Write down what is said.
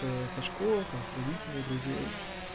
со школы там с родителей друзей